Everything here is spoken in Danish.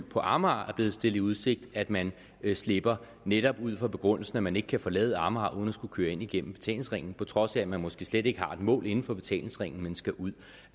på amager er blevet stillet i udsigt at man slipper netop ud fra begrundelsen at man ikke kan forlade amager uden at skulle køre ind igennem betalingsringen på trods af at man måske slet ikke har et mål inden for betalingsringen man skal ud